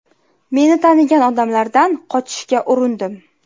Meni tanigan odamlardan qochishga urindim.